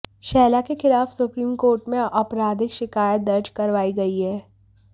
शहला के खिलाफ supreme court में आपराधिक शिकायत दर्ज करवाई गई है